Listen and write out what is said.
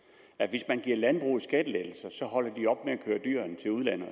at hvis man giver landbruget skattelettelser holder de op med at køre dyrene til udlandet